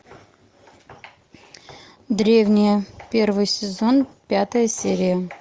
древние первый сезон пятая серия